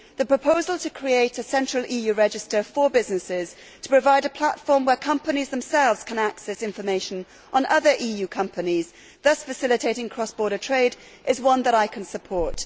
The proposal to create a single EU register for businesses to provide a platform where companies themselves can access information on other EU companies thus facilitating cross border trade is one that I can support.